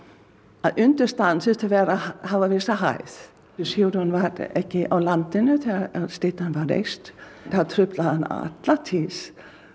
að undirstaðan þurfi að hafa vissa hæð Sigurjón var ekki á landinu þegar styttan var reist það truflaði hann alla tíð